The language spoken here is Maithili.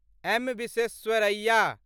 एम. विश्वेश्वरैया